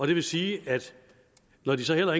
det vil sige at når de så heller